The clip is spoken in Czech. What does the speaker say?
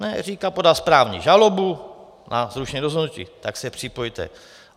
Říkám, podal správní žalobu na zrušení rozhodnutí, tak se připojte.